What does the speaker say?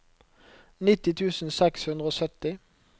nitti tusen seks hundre og sytti